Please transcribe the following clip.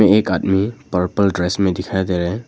एक आदमी purple dress में दिखाई दे रहे हैं।